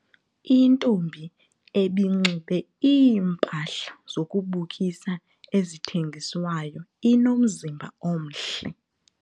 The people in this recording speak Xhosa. Intombi ebinxibe iimpahla zokubukisa ezithengiswayo inomzimba omhle.